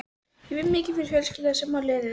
Ég vinn mikið fyrir fjölskylduna sem á liðið.